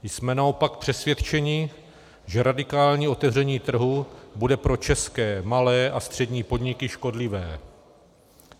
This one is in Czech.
Jsme naopak přesvědčeni, že radikální otevření trhu bude pro české malé a střední podniky škodlivé.